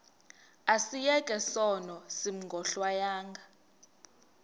asiyeke sono smgohlwaywanga